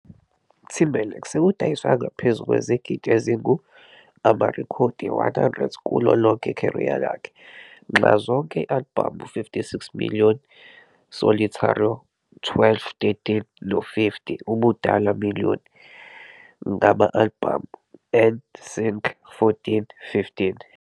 Timberlake sekudayiswe angaphezu kwezigidi ezingu-amarekhodi 100 kulo lonke career yakhe, nxazonke albhamu 56 million solitario12 13 no-50 ubudala million ngama-albhamu 'N Sync.14 15